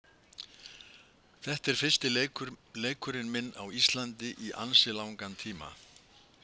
Þetta er fyrsti leikurinn minn á Íslandi í ansi langan tíma.